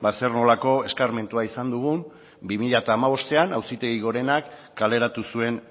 zer nolako eskarmentua izan dugun bi mila hamabostean auzitegi gorenak kaleratu zuen